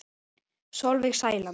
Sólveig Sæland.